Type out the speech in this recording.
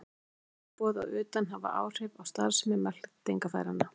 Ýmis taugaboð að utan hafa áhrif á starfsemi meltingarfæranna.